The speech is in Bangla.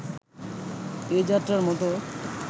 এ-যাত্রার মতো